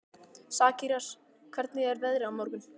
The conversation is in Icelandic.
Sakarías, hvernig er veðrið á morgun?